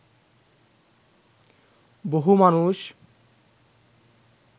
বহু মানুষ